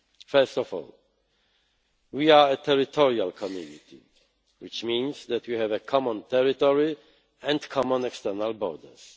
First of all, we are a territorial community, which means that we have a common territory and common external borders.